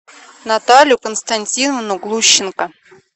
наталью константиновну глущенко